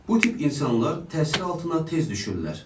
Bu tip insanlar təsir altına tez düşürlər.